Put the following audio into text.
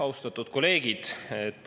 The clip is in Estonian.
Austatud kolleegid!